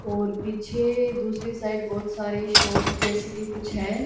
और पीछे दूसरी साइड बहोत सारे शॉप जैसे भी कुछ है।